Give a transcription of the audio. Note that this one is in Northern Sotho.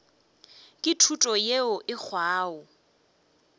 ke thuto yeo e hwago